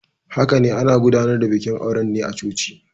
Haka ne, ana gudanar da bikin auren ne a coci.